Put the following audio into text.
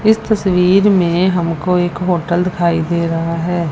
इस तस्वीर मे हमको एक होटल दिखाई दे रहा है।